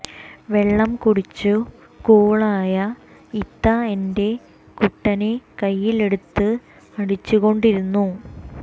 വെള്ളം കുടിച്ചു കൂളായ ഇത്ത എന്റെ കുട്ടനെ കയ്യിൽ എടുത്ത് അടിച്ചുകൊണ്ടിരുന്നു